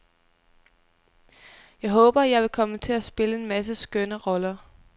Jeg håber, at jeg vil komme til at spille en masse skønne roller.